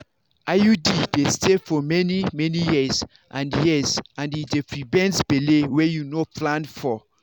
iud dey stay for many-many years and years and e dey prevent belle wey you no plan for.